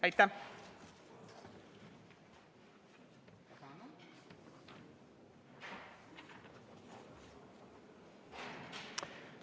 Aitäh!